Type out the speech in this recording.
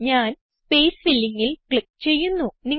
ഞാൻ സ്പേസ് Fillingൽ ക്ലിക്ക് ചെയ്യുന്നു